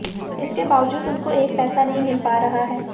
इसके बाबजूद उनको एक पैसा नहीं मिल पा रहा है